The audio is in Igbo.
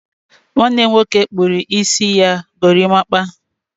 nwanne m nwoke kpụrụ isi ya gorimapa